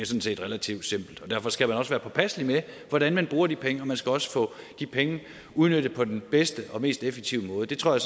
set relativt simpelt derfor skal man også være påpasselig med hvordan man bruger de penge og man skal også få de penge udnyttet på den bedste og mest effektive måde det tror jeg